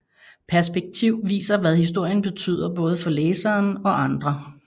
Perspektiv viser hvad historien betyder både for læseren og andre